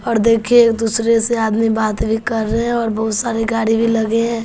और देखिए ओ दूसरे से आदमी बात भी कर रहे है और बहोत सारे गाड़ी भी लगे है।